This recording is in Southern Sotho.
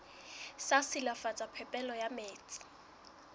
sa silafatsa phepelo ya metsi